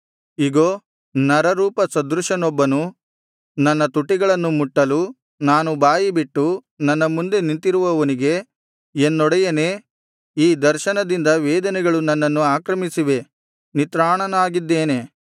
ಇಗೋ ನರರೂಪ ಸದೃಶನೊಬ್ಬನು ನನ್ನ ತುಟಿಗಳನ್ನು ಮುಟ್ಟಲು ನಾನು ಬಾಯಿಬಿಟ್ಟು ನನ್ನ ಮುಂದೆ ನಿಂತಿರುವವನಿಗೆ ಎನ್ನೊಡೆಯನೇ ಈ ದರ್ಶನದಿಂದ ವೇದನೆಗಳು ನನ್ನನ್ನು ಆಕ್ರಮಿಸಿವೆ ನಿತ್ರಾಣನಾಗಿದ್ದೇನೆ